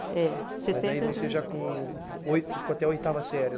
É. Setenta eu entrei na escola. Mas aí você já com oi, você ficou até a oitava série